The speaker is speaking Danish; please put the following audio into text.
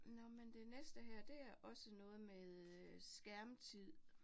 Nåh men det næste her, det er også noget med øh skærmtid